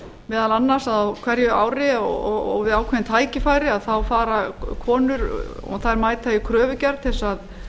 meðal annars á hverju ári og við ákveðin tækifæri fara konur og þær mæta í kröfugerð til að